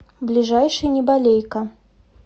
ближайший неболейка